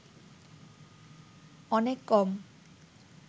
অনেক কম